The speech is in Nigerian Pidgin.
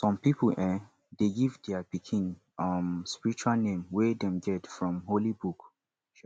some pipo um de give their pikin um spiritual name wey them get from holy book